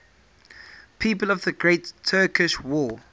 people of the great turkish war